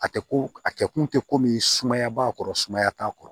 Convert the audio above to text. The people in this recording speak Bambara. A tɛ ko a kɛ kun tɛ ko min sumaya b'a kɔrɔ sumaya t'a kɔrɔ